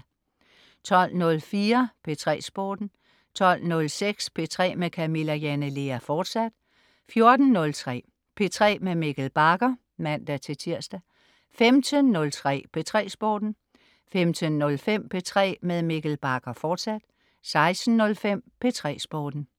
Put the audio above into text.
12.04 P3 Sporten 12.06 P3 med Camilla Jane Lea, fortsat 14.03 P3 med Mikkel Bagger (man-tirs) 15.03 P3 Sporten 15.05 P3 med Mikkel Bagger, fortsat 16.05 P3 Sporten